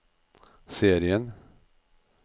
serien